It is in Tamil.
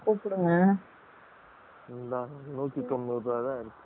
இந்தா நூத்தி தொன்னூரு ருபாய் தான் இருக்கு ticket